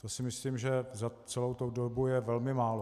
To si myslím, že za celou tu dobu je velmi málo.